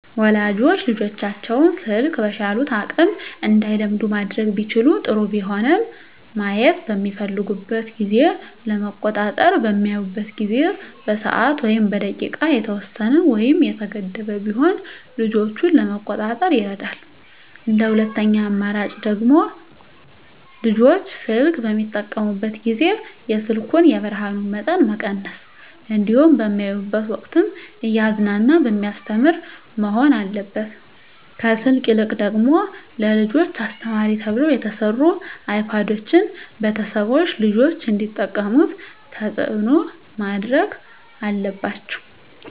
ወላጆች ልጆቻቸውን ስልክ በቻሉት አቅም እንዳይለምዱ ማድረግ ቢችሉ ጥሩ ቢሆንም ማየት በሚፈልጉበት ጊዜ ለመቆጣጠር በሚያዩበት ጊዜ በሰዓት ወይም በደቂቃ የተወሰነ ወይም የተገደበ ቢሆን ልጆችን ለመቆጣጠር ይረዳል እንደ ሁለተኛ አማራጭ ደግሞ ልጆች ስልክ በሚጠቀሙበት ጊዜ የስልኩን የብርሀኑን መጠን መቀነስ እንዲሁም በሚያዩበት ወቅትም እያዝናና በሚያስተምር መሆን አለበት ከስልክ ይልቅ ደግሞ ለልጆች አስተማሪ ተብለው የተሰሩ አይፓዶችን ቤተሰቦች ልጆች እንዲጠቀሙት ተፅዕኖ ማድረግ አለባቸው።